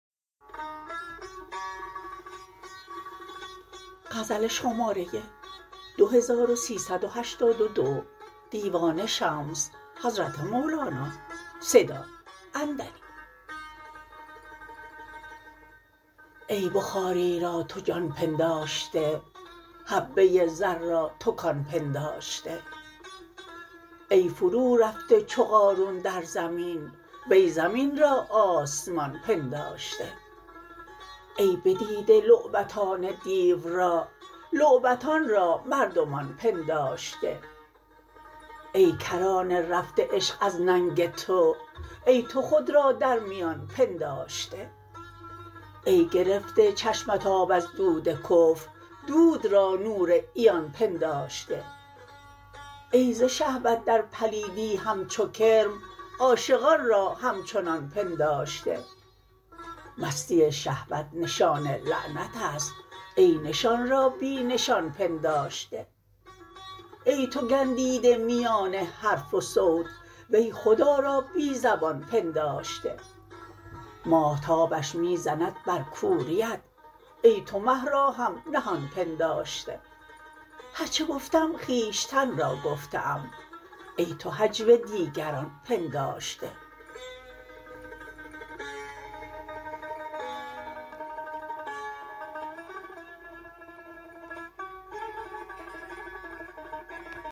ای بخاری را تو جان پنداشته حبه زر را تو کان پنداشته ای فرورفته چو قارون در زمین وی زمین را آسمان پنداشته ای بدیده لعبتان دیو را لعبتان را مردمان پنداشته ای کرانه رفته عشق از ننگ تو ای تو خود را در میان پنداشته ای گرفته چشمت آب از دود کفر دود را نور عیان پنداشته ای ز شهوت در پلیدی همچو کرم عاشقان را همچنان پنداشته مستی شهوت نشان لعنت است ای نشان را بی نشان پنداشته ای تو گندیده میان حرف و صوت وی خدا را بی زبان پنداشته ماهتابش می زند بر کوریت ای تو مه را هم نهان پنداشته هر چه گفتم خویشتن را گفته ام ای تو هجو دیگران پنداشته